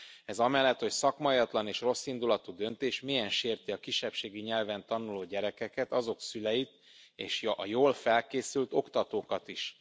Ez amellett, hogy szakmaiatlan és rosszindulatú döntés, mélyen sérti a kisebbségi nyelven tanuló gyerekeket, azok szüleit és a jól felkészült oktatókat is.